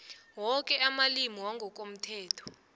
woke amalimi wangokomthetho